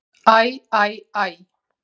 Æ, æ æ.